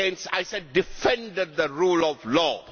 I said defended the rule of law'.